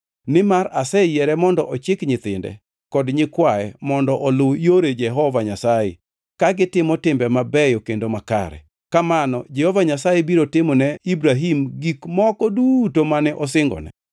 Nimar aseyiere mondo ochik nyithinde kod nyikwaye mondo oluw yore Jehova Nyasaye ka gitimo timbe mabeyo kendo makare. Kamano Jehova Nyasaye biro timo ne Ibrahim gik moko duto mane osingone.”